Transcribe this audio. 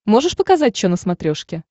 можешь показать че на смотрешке